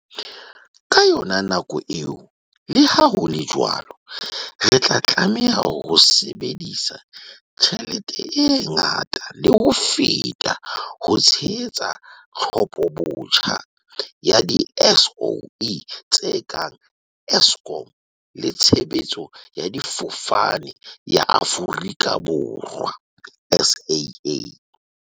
Ka yona nako eo, leha ho le jwalo, re tla tlameha ho sebedisa tjhelete e ngata le ho feta ho tshehetsa tlhophobotjha ya di-SOE tse kang Eskom le Tshebeletso ya Difofane ya Aforika Borwa, SAA.